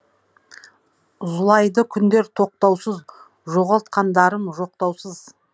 зулайды күндер тоқтаусыз жоғалтқандарым жоқтаусыз